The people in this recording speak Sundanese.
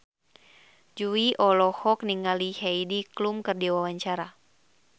Jui olohok ningali Heidi Klum keur diwawancara